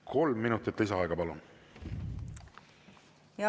Kolm minutit lisaaega, palun!